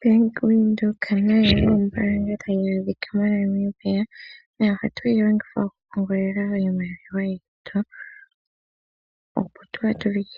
Bank Windhoek nayo ombaanga tayi monika moNamibia . Ohatu yi longitha okupungulila iimaliwa yetu , oshoka ngele otwa